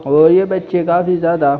और ये बच्चे काफी ज्यादा--